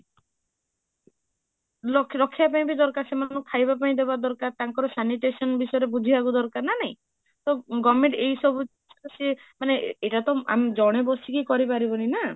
ରଖିବା ପାଇଁ ବି ଦରକାର ସେମାଙ୍କୁ ଖାଇବା ପାଇଁବି ଦେବା ଦରକାର ତାଙ୍କର sanitation ଵିଶେରେ ବୁଝିବାକୁ ଦରକାର ନା ନାହିଁ, ତ government ଏଇ ସବୁ ଜିନିଷ ଏଟା ତ ଆମେ ଜଣେ ବସିକି କରି ପାରିବୁନି ନା?